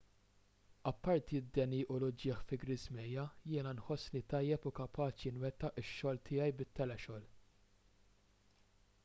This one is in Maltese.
apparti d-deni u l-uġigħ fi ġriżmejja jiena nħossni tajjeb u kapaċi nwettaq ix-xogħol tiegħi bit-telexogħol